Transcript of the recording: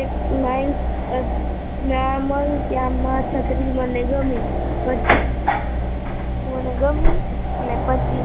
એક માઈટ નામલ મને છત્રી મને ગમી, પછી